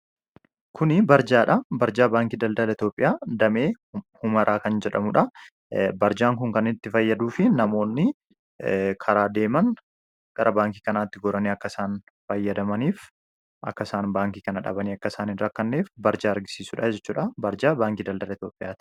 Kuni barjaadha. Barjaa baankii daldale Itoophiyaa damee humaraa kan jedhamuudha. Barjaan kun kanitti fayyaduu fi namoonni karaa deeman gara baankii kanaatti goranii akkasaan fayyadamaniif akkasaan baankii kana dhabanii akkasaaniin rakkanneef barjaa argisiisuudha jechuudha . Barjaa baankii daldala Itoophiyaati.